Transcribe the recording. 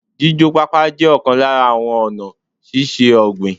Jíjó pápá jẹ́ ọ̀kan lára àwọn ọ̀nà síse ọ̀gbìn